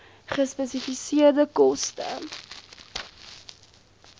gespesifiseerde koste